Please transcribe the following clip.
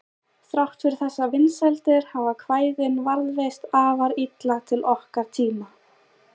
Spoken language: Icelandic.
Þrátt fyrir þessar vinsældir hafa kvæðin varðveist afar illa til okkar tíma.